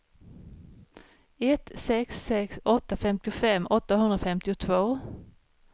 ett sex sex åtta femtiofem åttahundrafemtiotvå